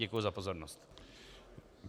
Děkuji za pozornost.